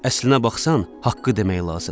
Əslinə baxsan, haqqı demək lazımdır.